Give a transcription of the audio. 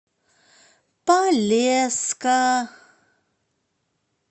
полесска